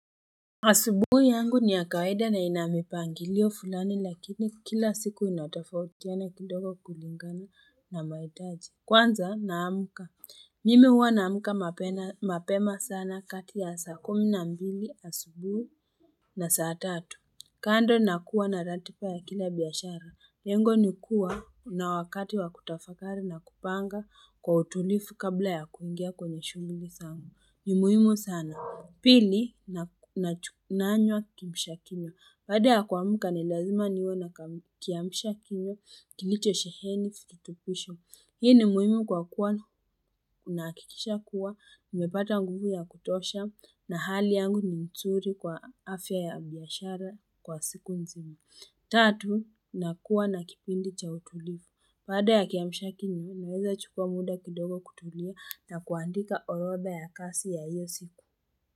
Asubuhi yangu ni ya kawaida na inamipangilio fulani lakini kila siku inatofautiana kidogo kulingana na mahitaji. Kwanza naamka. Mim huwanaamka mapema sana kati ya saa kumi na mbili asubuhi. Na saa tatu. Kando nakuwa na ratiba ya kila biashara, lengo ni kuwa na wakati wa kutafakari na kupanga kwa utulifu kabla ya kuingia kwenye shughuli sangu. Ni muhimu sana. Pili, nanywa kimshakinywa. Baada ya kuamka ni lazima niwe na kiamshakinywa, kilicho sheheni, fitutupusho. Hii ni muhimu kwa kuwa nahakikisha kuwa, nimepata nguvu ya kutosha na hali yangu ni nzuri kwa afya ya biashara kwa siku nzima. Tatu, nakuwa na kipindi cha utulivu. Baada ya kiamshakinywa, naweza chukua muda kidogo kutulia na kuandika orodha ya kasi ya hiyosiku.